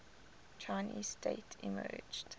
chinese state emerged